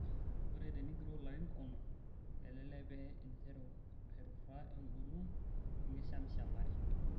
Ore tenigiroo larin onom, kelelek pee interu aituraa engolon enkishamishamare.